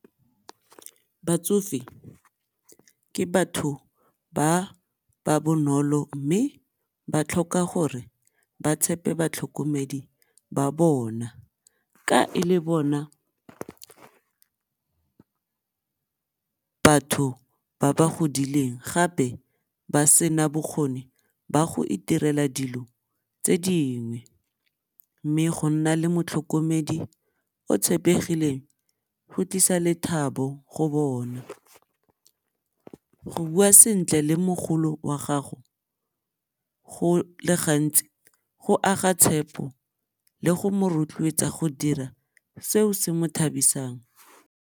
Batsofe ke batho ba ba bonolo mme ba tlhoka gore ba tshepe batlhokomedi ba bona ka e le bona batho ba ba godileng gape ba sena bokgoni ba go iterela dilo tse dingwe. Mme go nna le motlhokomedi o tshepegileng go tlisa lethabo go bona, go bua sentle le mogolo wa gago go le gantsi go aga tshepo le go mo rotloetsa go dira seo se mo thabisang.